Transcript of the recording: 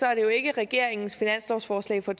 er det jo ikke regeringens finanslovsforslag for